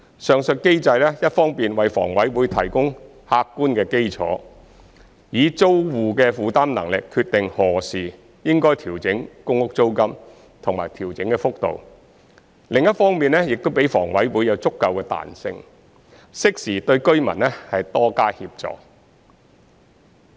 上述機制一方面為房委會提供客觀的基礎，以租戶的負擔能力決定何時應調整公屋租金及調整的幅度，另一方面亦給房委會足夠彈性，適時對居民多加協助。